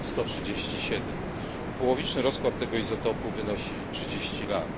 137. Połowiczny rozkład tego izotopu wynosi 30 lat.